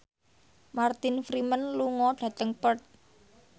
Martin Freeman lunga dhateng Perth